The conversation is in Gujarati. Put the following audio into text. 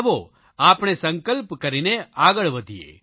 આવો આપણે સંકલ્પ કરીને આગળ વધીએ